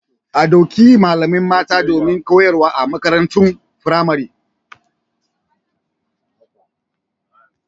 A ɗauki sabbin malamai mata domin koyarwa a makarantun firamare.